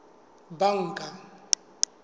banka